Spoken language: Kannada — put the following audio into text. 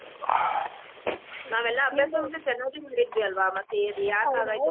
ಆಹ್ ನಾವೆಲ್ಲಾ ಅಭ್ಯಾಸ ಮಾತ್ರ ಚೆನ್ನಾಗಿ ಮಾಡಿದ್ವಿ ಅಲ್ವಾ ಮತ್ತೆ ಅದ್ ಯಾಕ ಹಾಗಾಯ್ತೊ ಗೊತ್ತಿಲ್ಲಾ.